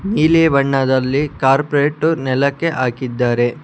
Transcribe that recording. ನೀಲಿ ಬಣ್ಣದಲ್ಲಿ ಕಾರ್ಪೆಟ ನೆಲಕ್ಕೆ ಹಾಕಿದ್ದಾರೆ.